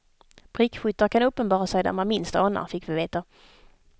Prickskyttar kan uppenbara sig där man minst anar, fick vi veta.